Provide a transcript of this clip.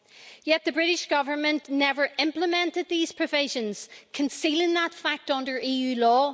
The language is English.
Yet the British Government never implemented these provisions, concealing that fact under EU law.